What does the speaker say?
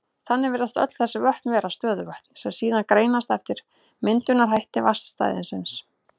Þannig virðast öll þessi vötn vera stöðuvötn, sem síðan greinast eftir myndunarhætti vatnsstæðisins.